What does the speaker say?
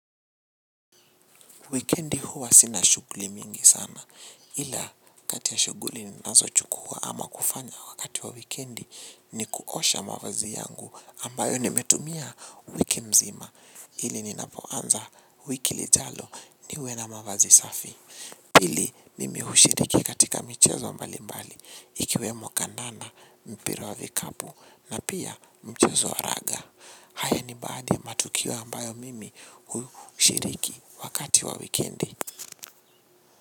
Wikendi huwa sina shughuli mingi sana. Ila kati ya shughuli ninazo chukua ama kufanya wakati wa wikendi ni kuosha mavazi yangu ambayo nimetumia wiki mzima. Ili ninapoanza wiki lijalo niwe na mavazi safi. Ili mimi hushiriki katika michezo mbali mbali ikiwemo kandana mpira wa vikapu na pia mchezo wa raga. Haya ni baadhi ya matukio ambayo mimi hushiriki wakati wa wikendi.